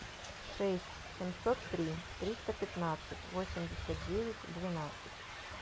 шесть семьсот три триста пятнадцать восемьдесят девять двенадцать